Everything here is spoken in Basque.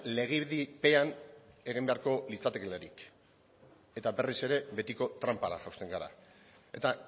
legedipean egin beharko litzatekeelarik eta berriz ere betiko tranpara jausten gara eta